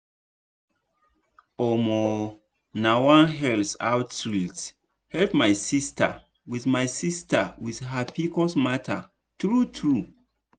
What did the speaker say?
omo nah one health outreach help my sister with my sister with her pcos matter true true.